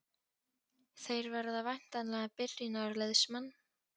Þeir verða væntanlega byrjunarliðsmenn?